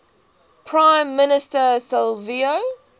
prime minister silvio